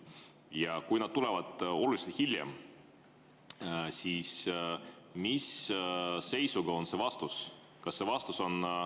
Ja kui need tulevad oluliselt hiljem, siis mis seisuga antakse vastus?